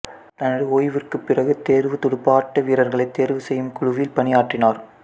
தனது ஓய்விற்குப் பிறகு தேர்வுத் துடுப்பாட்ட வீரர்களைத் தேர்வு செய்யும் குழுவில் பணியாற்றினார்